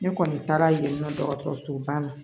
Ne kɔni taara yen nɔ dɔgɔtɔrɔsoba la